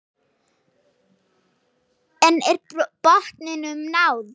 En er botninum náð?